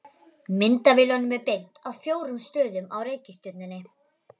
Myndavélunum er beint að fjórum stöðum á reikistjörnunni.